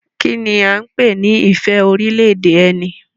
Kí ni a ń pè ní ìfẹ́ orílẹ̀-èdè ẹni?